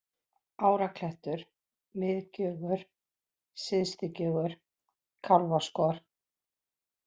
Áraklettur, Miðgjögur, Syðstugjögur, Kálfaskor